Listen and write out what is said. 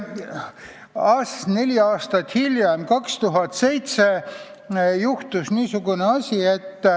Neli aastat hiljem, 2007 juhtus niisugune asi.